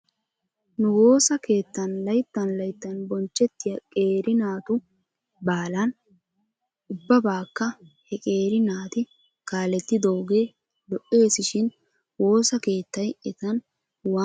Nu woosa keettan layttan layttan bonchchettiyaa qeeri naatu baalan ubbabaakka he qeeri naati kaalettidoogee lo'es shin woosa keettay etan waani ammanettidee?